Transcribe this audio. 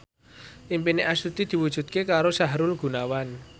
impine Astuti diwujudke karo Sahrul Gunawan